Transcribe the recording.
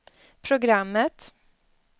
programmet